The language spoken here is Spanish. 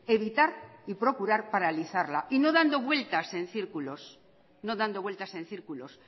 evitar y procurar paralizarla y no dando vueltas en círculos no dando vueltas en círculos